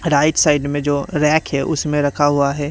Right side में जो rack है उसमें रखा हुआ है।